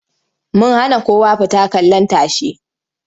Mun hana kowa fita kallin tashe.